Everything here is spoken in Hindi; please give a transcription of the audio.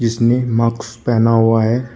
जिसने मास्क पहना हुआ है।